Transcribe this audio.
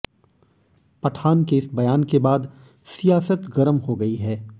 पठान के इस बयान के बाद सियासत गरम हो गई है